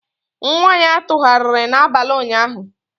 Nwa ya tụgharịrị n'abalị ụnyaahụ.